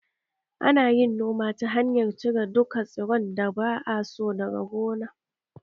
Ana yin noma ta hanyar cire duka tsiron da ba a so daga gona